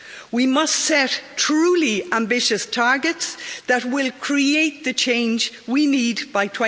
We must set a truly ambitious target that will create the change we need by